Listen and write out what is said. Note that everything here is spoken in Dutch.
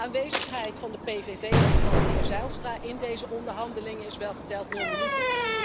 De aanwezigheid van de PVV en van meneer Zijlstra in deze onderhandelingen is welgeteld nul minuten.